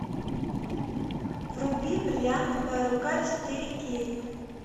вруби бриллиантовая рука четыре кей